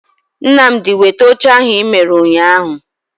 Nnamdi weta oche ahu I mere unyahu